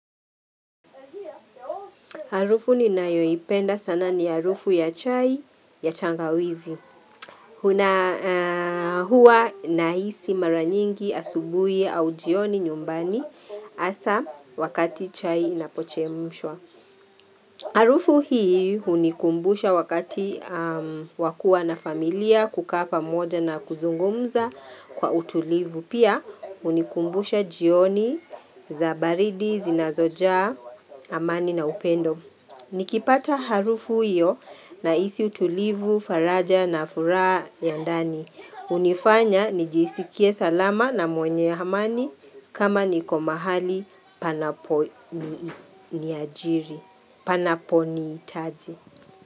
Harufu ninayoipenda sana ni harufu ya chai ya tangawizi. Hua nahisi mara nyingi asubuhi au jioni nyumbani hasa wakati chai inapochemshwa. Harufu hii hunikumbusha wakati wa kua na familia kukaa pamoja na kuzungumza kwa utulivu. Pia hunikumbusha jioni za baridi zinazojaa amani na upendo. Nikipata harufu iyo nahisi utulivu, faraja na furaha ya ndani. Hunifanya nijisikie salama na mwenye ya amani kama niko mahali panapo nihitaji.